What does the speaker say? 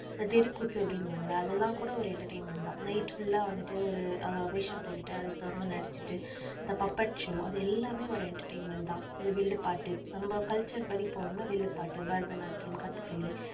இந்த தெருக்கூத்து அப்படின்னுவாங்க இல்ல அதெல்லாம் கூட ஒரு entertainment தான். night full ஆ வந்துட்டு ஒரு அஹ் வேஷம் போட்டுட்டு அதுக்கு தகுந்த மாதிரி நடிச்சிட்டு இந்த puppet show அது எல்லாமே ஒரு entertainment தான். இந்த வில்லுப்பாட்டு நம்ம culture படி போனோம்ன்னா வில்லுப்பாட்டு, பரதநாட்டியம், கதக்களி